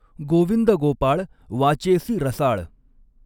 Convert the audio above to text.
गॊविंद गॊपाळ वाचॆसी रसाळ.